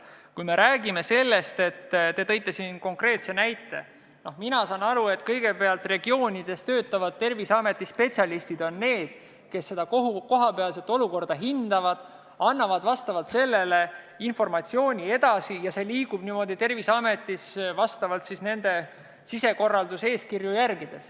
Kui me räägime sellest, mille kohta te siin konkreetse näite tõite, siis mina saan aru nii, et kõigepealt hindavad vastavas regioonis töötavad Terviseameti spetsialistid kohapealset olukorda, annavad selle informatsiooni edasi ja see liigub Terviseametis vastavalt nende sisekorraeeskirjadele.